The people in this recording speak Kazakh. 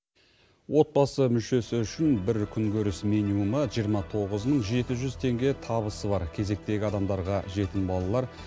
отбасы мүшесі үшін бір күнкөріс минимумы жиырма тоғыз мың жеті жүз теңге табысы бар кезектегі адамдарға жетім балалар